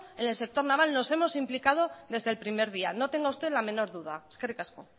en el sector naval nos hemos implicado desde el primer día no tenga usted ni la menor duda eskerrik asko